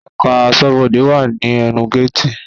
Ẹ̀ká aṣọ́bọdè wà ní ẹnu géètì